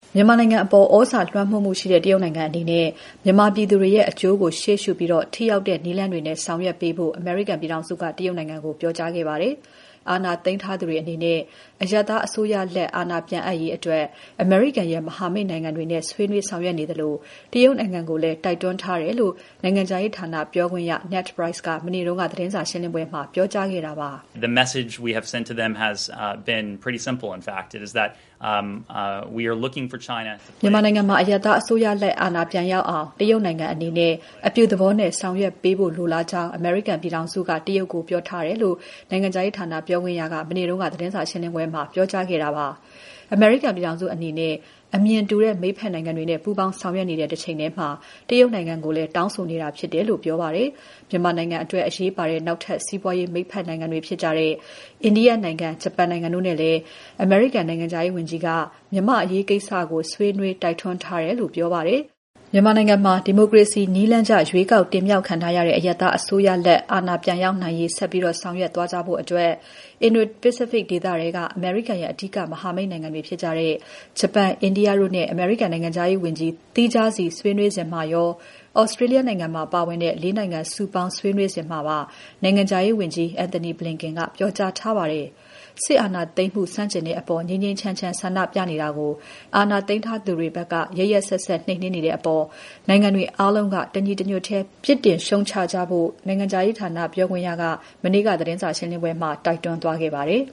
မြန်မာနိုင်ငံအပေါ် သြဇာလွှမ်းမိုးမှုရှိတဲ့ တရုတ်နိုင်ငံအနေနဲ့ မြန်မာပြည်သူတွေရဲ့ အကျိုးကို ရှေ့ရှုပြီး ထိရောက်တဲ့ နည်းလမ်းတွေနဲ့ ဆောင်ရွက်ပေးဖို့ အမေရိကန်ပြည်ထောင်စုက တရုတ်နိုင်ငံကို ပြောကြားခဲ့ပါတယ်။ အာဏာသိမ်းထားသူတွေအနေနဲ့ အရပ်သားအစိုးရလက်ပြန်အပ်ရေးအတွက် အမေရိကန်ရဲ့ မဟာမိတ်နိုင်ငံတွေနဲ့ ဆွေးနွေးဆောင်ရွက်နေသလို တရုတ်နိုင်ငံကိုလည်း တိုက်တွန်းထားတယ်လို့ နိုင်ငံခြားရေးဌာနပြောခွင့်ရ Ned Price က မနေ့က သတင်းစာရှင်းပွဲမှာ ပြောကြားခဲ့တာပါ။ "မြန်မာနိုင်ငံမှာ အရပ်သားအစိုးရလက် အာဏာပြန်ရောက်အောင် တရုတ်နိုင်ငံအနေနဲ့ အပြုသဘောနဲ့ ဆောင်ရွက်ပေးဖို့ လိုလားကြောင်း အမေရိကန်ပြည်ထောင်စုက တရုတ်ကို ပြောထားတယ်။" လို့ နိုင်ငံခြားရေးဌာနပြောခွင့်ရက မနေ့က သတင်းစာရှင်းပွဲမှာ ပြောကြားခဲ့တာပါ။ အမေရိကန်ပြည်ထောင်စုအနေနဲ့ အမြင်တူတဲ့ မိတ်ဖက်နိုင်ငံတွေနဲ့ ပူးပေါင်းဆောင်ရွက်နေတဲ့ တချိန်ထဲမှာ တရုတ်နိုင်ငံကိုလည်း တောင်းဆိုနေတာဖြစ်တယ်လို့ ပြောပါတယ်။ မြန်မာနိုင်ငံအတွက် အရေးပါတဲ့ နောက်ထပ် စီးပွားရေးမိတ်ဖက်နိုင်ငံတွေဖြစ်တဲ့ အိန္ဒိယနိုင်ငံ၊ ဂျပန်နိုင်ငံတို့နဲ့လည်း အမေရိကန် နိုင်ငံခြားရေးဝန်ကြီးက မြန်မာ့အရေးကိစ္စကို ဆွေးနွေး တိုက်တွန်းထားတယ်လို့ ပြောပါတယ်။ မြန်မာနိုင်ငံမှာ ဒီမိုကရေစီနည်းလမ်းကျ ရွေးကောက်တင်မြှောက်ခံထားရတဲ့ အရပ်သားအစိုးရ အာဏာပြန် ရောက်နိုင်ရေး ဆက်ပြီးဆောင်ရွက်သွားကြဖို့အတွက် Indo-Pacific ဒေသထဲက အမေရိကန်ရဲ့ အဓိက မဟာမိတ်တွေဖြစ်ကြတဲ့ ဂျပန်၊ အိန္ဒိယတို့နဲ့ အမေရိကန် နိုင်ငံခြားရေးဝန်ကြီး သီးခြားစီဆွေးနွေးစဉ်မှာရော၊ Australia နိုင်ငံပါ ပါဝင်တဲ့ ၄ နိုင်ငံစုပေါင်း ဆွေးနွေးစဉ်မှာပါ နိုင်ငံခြားရေးဝန်ကြီး Antony Blinken ကပြောကြားထားပါတယ်။ စစ်အာဏာသိမ်းမှု ဆန့်ကျင်တဲ့အပေါ် ငြိမ်းငြိမ်းချမ်းချမ်းဆန္ဒပြနေတာကို အာဏာသိမ်းထားသူတွေဘက်က ရက်ရက်စက်စက် နှိမ်နင်းနေတဲ့အပေါ် နိုင်ငံတွေအားလုံးက တညီတညွတ်ထဲ ပြစ်တင် ရှုတ်ချကြဖို့ နိုင်ငံခြားရေးဌာနပြောခွင့်ရက မနေ့က သတင်းစာရှင်းပွဲမှာ တိုက်တွန်းသွားခဲ့ပါတယ်